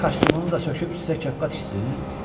Kişi kostyumunu da söküb sizə kepka tiksin?